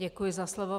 Děkuji za slovo.